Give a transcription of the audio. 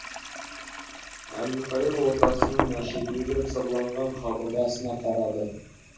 әбілқайыр ордасының әшекейлеп сырланған қабырғасына қарады